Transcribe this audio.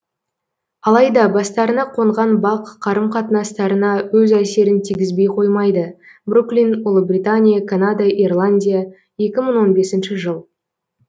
алайда бастарына қонған бақ қарым қатынастарына өз әсерін тигізбей қоймайды бруклин ұлыбритания канада ирландия екі мың он бесінші жыл